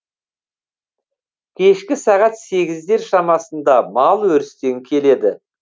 кешкі сағат сегіздер шамасында мал өрістен келеді